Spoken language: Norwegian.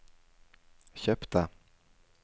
kjøpte